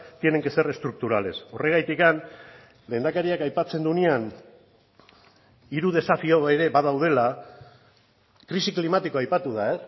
tienen que ser estructurales horregatik lehendakariak aipatzen duenean hiru desafio ere badaudela krisi klimatikoa aipatu da